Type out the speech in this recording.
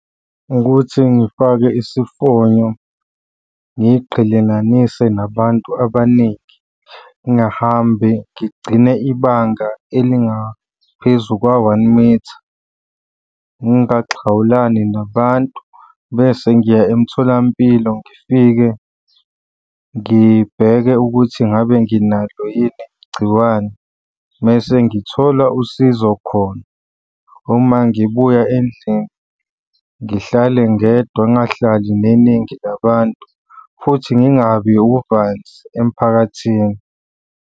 Ukuthi ngifake isifonyo ngiqhelelanise nabantu abaningi. Ngingahambi ngigcine ibanga elingaphezu kwa-one mitha. Ngingaxhawulani nabantu, bese ngiya emtholampilo ngifike ngibheke ukuthi ngabe nginalo yini igciwane mese ngithol usizo khona. Uma ngibuya endlini ngihlale ngedwa ngingahlali neningi nabantu, futhi ngingabi uvanzi emphakathini.